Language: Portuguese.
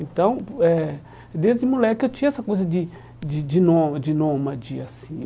Então, eh desde moleque eu tinha essa coisa de de de nôma de nômade assim.